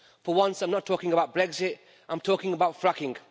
For once, I'm not talking about Brexit, I'm talking about fracking.